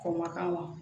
K'o ma k'a ma